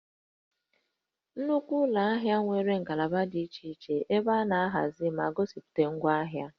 Nnukwu ụlọ ahịa nwere ngalaba dị iche iche ebe a na-ahazi ma gosipụta ngwaahịa